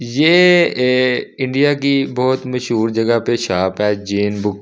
ये ए इंडिया की बहुत मशहूर जगह पे शॉप है जैन बुक ।